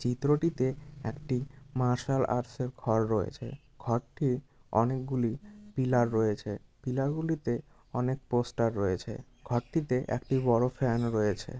চিত্রটিতে একটি martial art এর ঘর রয়েছে ঘর টি অনেকগুলি পিলার রয়েছে পিলার গুলিতে অনেক পোস্টার রয়েছে ঘরটিতে একটি বড় ফ্যান ও রয়েছে ।